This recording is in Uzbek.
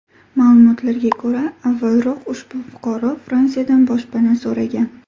Ma’lumotlarga ko‘ra, avvalroq ushbu fuqaro Fransiyadan boshpana so‘ragan.